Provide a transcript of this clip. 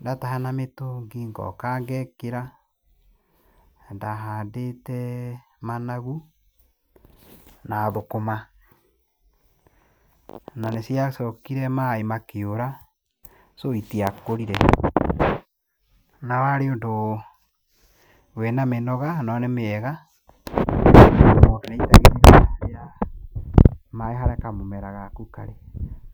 Ndataha na mĩtũngi, ngoka ngekĩra. Ndahandĩte managu, na thũkũma. Na nĩciacokire maĩ makĩũra, so itiakũrire. Na warĩ ũndũ wĩna mĩnoga, no nĩmĩega. Mũndũ aitagĩrĩria maĩ harĩa kamũmera gaku karĩ.